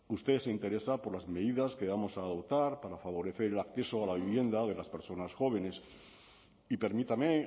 usted se interesa por las medidas que vamos a adoptar para favorecer el acceso a la vivienda de las personas jóvenes y permítame